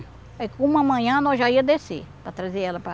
Aí uma manhã nós já ia descer, para trazer ela para...